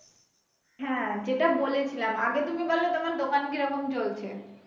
হ্যা যেটা বলেছিলাম আগে তুমি বলো তোমার দোকান কিরকম চলছে?